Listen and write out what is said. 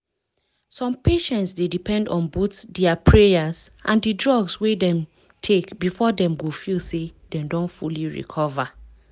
some patients dey depend on both dia prayers and di drugs wey dem take before dem go feel say dem don fully recover.